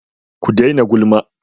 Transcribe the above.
Ku daina gulma!